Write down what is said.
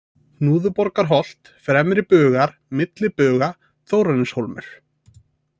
Hnúðuborgarholt, Fremri-Bugar, Milli Buga, Þórarinshólmur